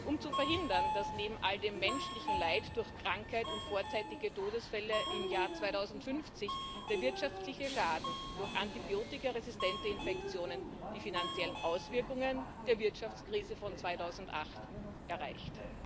Um zu verhindern, dass neben all dem menschlichen Leid durch Krankheit und vorzeitige Todesfälle im Jahr 2050 der wirtschaftliche Schaden durch antibiotikaresistente Infektionen die finanziellen Auswirkungen der Wirtschaftskrise von 2008 erreicht.